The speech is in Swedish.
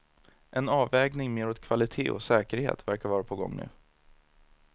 En avvägning mer åt kvalitet och säkerhet verkar vara på gång nu.